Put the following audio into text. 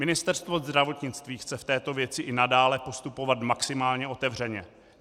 Ministerstvo zdravotnictví chce v této věci i nadále postupovat maximálně otevřeně.